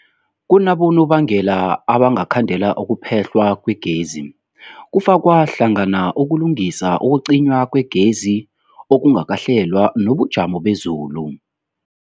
Kunabonobangela abangakhandela ukuphehlwa kwegezi, kufaka hlangana ukulungisa, ukucinywa kwegezi okungakahlelwa, nobujamo bezulu.